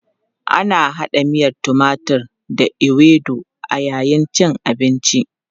Ana hada miyan timatur da ewedu a yayin cin abinci.